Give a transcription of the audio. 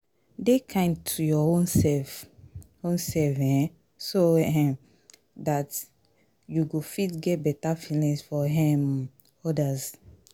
dey kind to your own self own self um so um dat you go feet get better feelings for um odas